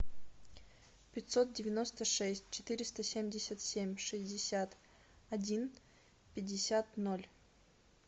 пятьсот девяносто шесть четыреста семьдесят семь шестьдесят один пятьдесят ноль